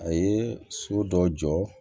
A ye so dɔ jɔ